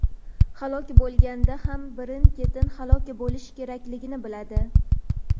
halok bo‘lganda ham birin-ketin halok bo‘lish kerakligini biladi.